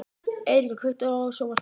Eiríka, kveiktu á sjónvarpinu.